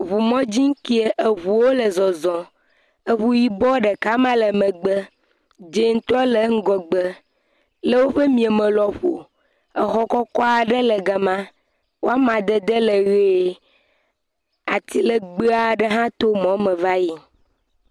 Ŋu mɔdzi kee, eŋuwo le zɔzɔm, eŋu yibɔ ɖeka ma le megbe, dzɛ̃tɔ le ŋgɔgbe, le woƒe mia me lɔƒo exɔ kɔkɔ aɖe le gama, woama dede le ʋe. Ati legbee aɖe hã to mɔ me va yi.